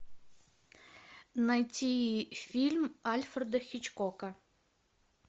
найти фильм альфреда хичкока